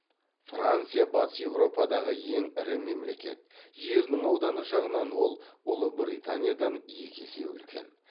франция батыс еуропадағы ең ірі мемлекет жерінің ауданы жағынан ол ұлыбританиядан екі есе үлкен